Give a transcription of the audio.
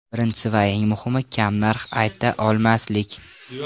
Birinchisi va eng muhimi, kam narx aytsa olmaslik.